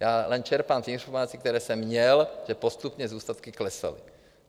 Já jen čerpám ty informace, které jsem měl, že postupně zůstatky klesaly.